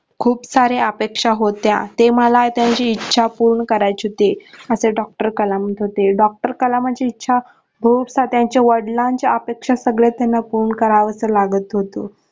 खूप साऱ्या अपेक्षा होत्या ते मला त्यांची इच्छा पूर्ण करायची होती असे doctor कलाम होते doctor कलामांची इच्छा हो असता त्यांचा वडिलांच्या अपेक्षा सगळ्या त्यांना पूर्ण करावच लागत होते.